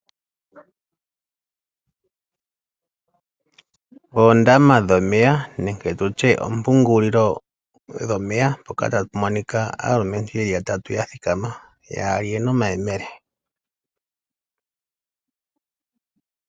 Oondama dhomeya nenge tutye oompungulilo dhomeya mpoka tapu monika aalumentu yeli ya tatu ya thikama, yaali yena omayemele